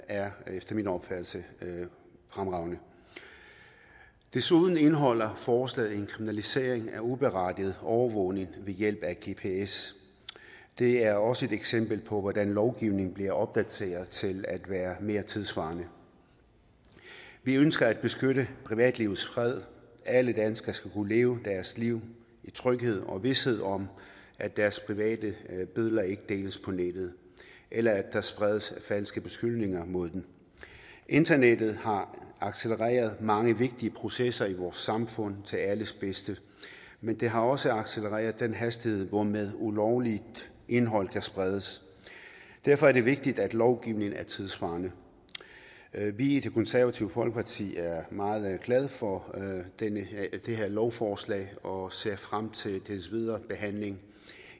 er efter min opfattelse fremragende desuden indeholder forslaget en kriminalisering af uberettiget overvågning ved hjælp af gps det er også et eksempel på hvordan lovgivningen bliver opdateret til at være mere tidssvarende vi ønsker at beskytte privatlivets fred alle danskere skal kunne leve deres liv i tryghed og vished om at deres private billeder ikke deles på nettet eller at der spredes falske beskyldninger mod dem internettet har accelereret mange vigtige processer i vores samfund til alles bedste men det har også accelereret den hastighed hvormed ulovligt indhold kan spredes derfor er det vigtigt at lovgivningen er tidssvarende vi i det konservative folkeparti er meget glade for det her lovforslag og ser frem til dets videre behandling